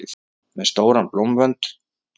Með stóran blómvönd!